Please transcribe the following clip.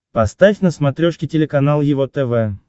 поставь на смотрешке телеканал его тв